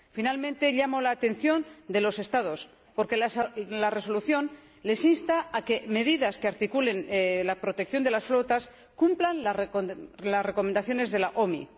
Finalmente, llamo la atención de los Estados, porque la Resolución les insta a que las medidas que articulen la protección de las flotas cumplan las recomendaciones de la OMI.